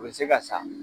U bɛ se ka sa